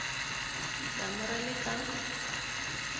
damu ra le ka n